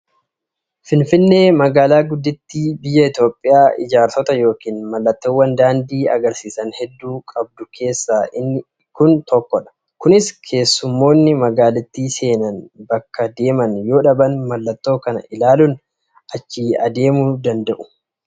Finfinneen magaalaa guddittii biyya Itoophiyaa ijaarsota yookiin mallattoowwan daandii agarsisan hedduu qabdu keessaa inni kun tokkodha. Kunis keessummoonni magaalittii seenan bakka deeman yoo dhaban mallattoo kana ilaaluun achi adeemuu ni danda'u.